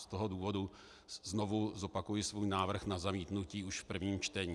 Z toho důvodu znovu zopakuji svůj návrh na zamítnutí už v prvním čtení.